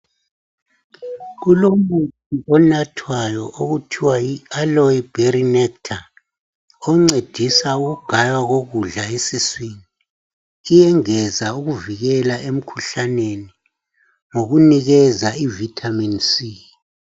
Kulomuthi onathwayo okuthiwa yi Aloe berry nectar oncedisa ukugaywa kokudla esiswini iyengeza ukuvikela emikhuhlaneni ngokunikeza ivitamin c.